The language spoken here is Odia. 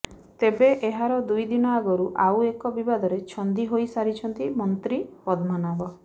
ତେବେ ଏହାର ଦୁଇ ଦିନ ଆଗରୁ ଆଉ ଏକ ବିବାଦରେ ଛନ୍ଦି ହୋଇସାରିଛନ୍ତି ମନ୍ତ୍ରୀ ପଦ୍ମନାଭ